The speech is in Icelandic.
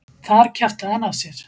Þar kjaftaði hann af sér.